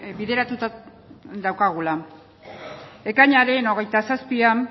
bideratuta daukagula ekainaren hogeita zazpian